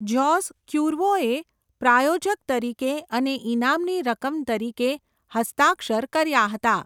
જોસ ક્યુર્વોએ પ્રાયોજક તરીકે અને ઇનામની રકમ તરીકે હસ્તાક્ષર કર્યા હતા.